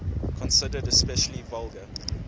considered especially vulgar